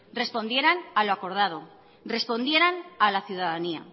respondieran a lo acordado respondieran a la ciudadanía